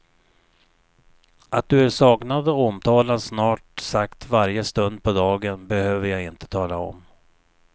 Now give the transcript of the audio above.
Att du är saknad och omtalad snart sagt varje stund på dagen behöver jag inte tala om.